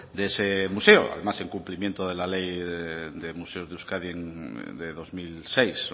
de ese mueso además del cumplimiento de la ley de museos de euskadi de dos mil seis